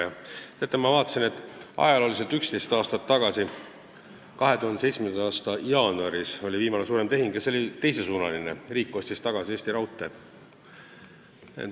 Ja teate, ma leidsin, et 11 aastat tagasi ehk 2007. aasta jaanuaris sai tehtud viimane suurem tehing ja see oli teisesuunaline: riik ostis tagasi Eesti Raudtee.